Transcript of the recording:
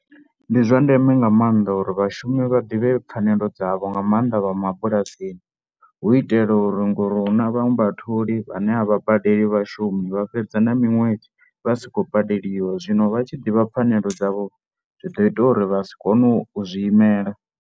Ndi zwa ndeme nga maanḓa uri vhashumi vha ḓivhe pfanelo dzavho nga maanḓa vha mabulasini hu itela uri ngori hu na vhaṅwe vhatholi vhane a vha badeli vhashumi, vha fhedza na miṅwedzi vha si khou badeliwa zwino vha tshi ḓivha pfanelo dzavho zwi ḓo ita uri vha si kone u zwi imela.